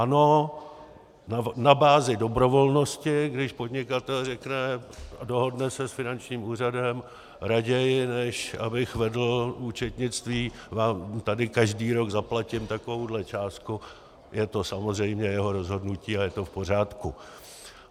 Ano, na bázi dobrovolnosti, když podnikatel řekne, dohodne se s finančním úřadem, raději než abych vedl účetnictví, vám tady každý rok zaplatím takovouto částku, je to samozřejmě jeho rozhodnutí a je to v pořádku.